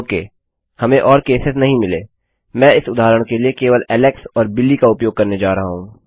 okay हमें और cases नहीं मिले मैं इस उदाहरण के लिए केवल ऐलेक्स और बिली का उपयोग करने जा रहा हूँ